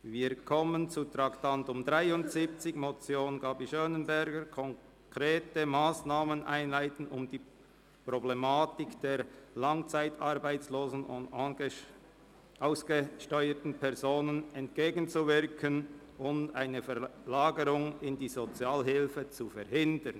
Wir kommen zum Traktandum 73, der Motion Gabi Schönenberger: «Konkrete Massnahmen einleiten, um der Problematik der langzeitarbeitslosen und ausgesteuerten Personen entgegenzuwirken und eine Verlagerung in die Sozialhilfe zu verhindern».